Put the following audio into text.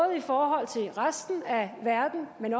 i forhold til resten af verden men